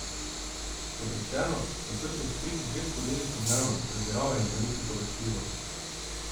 Kot rečeno, sta srcu v prid dve skodelici dnevno, pretiravanje pa ni priporočljivo.